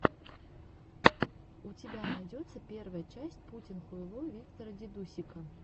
у тебя найдется первая часть путинхуйло виктора дидусика